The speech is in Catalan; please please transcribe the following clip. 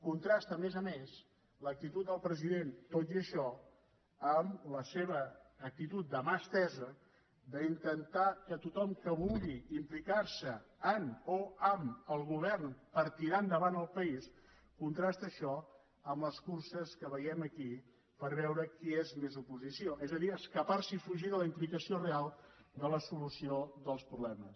contrasta a més a més l’actitud del president tot i això amb la seva actitud de mà estesa d’intentar que tothom que vulgui implicarse en o amb el govern per tirar endavant el país contrasta això amb les curses que veiem aquí per veure qui és més oposició és a dir escaparse i fugir de la implicació real de la solució dels problemes